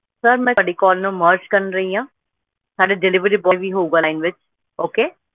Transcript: sir ਮੈਂ ਤੁਹਾਡੀ call ਨੂੰ merge ਕਰ ਰਹੀ ਆ ਸਾਡੇ delivery boy ਵੀ ਹੋਊਗਾ ਵਿਚ okay